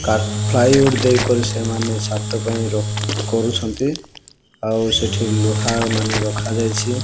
ଆଉ ସେଠି ଲୁହା ମାନେ ରଖା ଯାଇଛି।